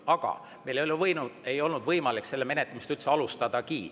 Aga meil ei olnud võimalik selle menetlemist üldse alustadagi.